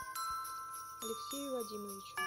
алексею вадимовичу